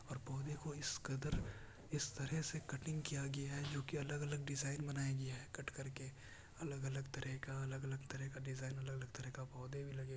ओर पोधे को इस कदर इस तरह से कटिंग किया गया है जो की अलग अलग डिज़ाइन बनाया गया है। कट करके अलग अलग तरिका अलग तरिका डिज़ाइन अलग तरीका पौधे भी लगे --